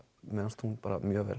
mér fannst hún mjög vel